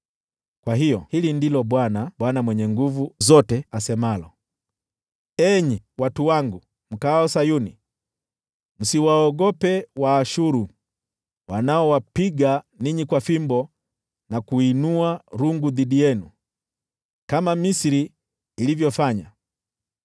Kwa hiyo, hili ndilo Bwana, Bwana Mwenye Nguvu Zote asemalo: “Enyi watu wangu mkaao Sayuni, msiwaogope Waashuru, wanaowapiga ninyi kwa fimbo na kuinua rungu dhidi yenu, kama Misri ilivyofanya.